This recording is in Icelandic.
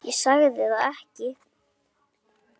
Ég sagði það ekki.